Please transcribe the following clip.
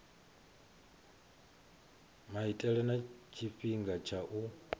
maitele na tshifhinga tsha u